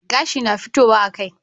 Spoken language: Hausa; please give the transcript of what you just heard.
Gashi na fitowa a kai